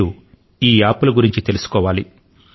మీరు ఈ అప్లికేశన్ లను గురించి తెలుసుకోవాలి